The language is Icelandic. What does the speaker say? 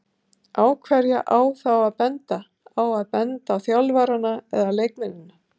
Á hverja á þá að benda, á að benda á þjálfarana eða leikmennina?